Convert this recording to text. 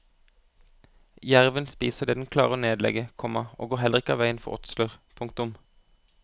Jerven spiser det den klarer å nedlegge, komma og går heller ikke av veien for åtsler. punktum